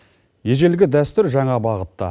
ежелгі дәстүр жаңа бағытта